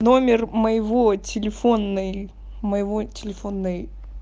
номер моего телефонной моего телефонной